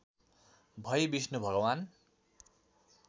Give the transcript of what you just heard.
भई विष्णु भगवान्